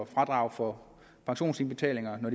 fradrag for pensionsindbetalinger nu